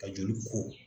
Ka joli ko